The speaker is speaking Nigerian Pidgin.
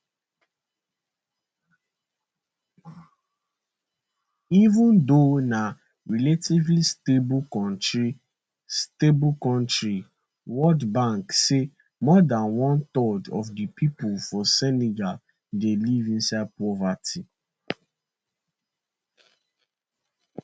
even though na relatively stable kontri stable kontri world bank say more than one third of di pipo for senegal dey live inside poverty